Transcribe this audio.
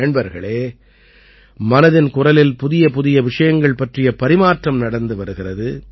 நண்பர்களே மனதின் குரலில் புதியபுதிய விஷயங்கள் பற்றிய பரிமாற்றம் நடந்து வருகிறது